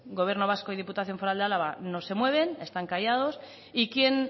gobierno vasco y diputación foral de álava no se mueven están callados y quién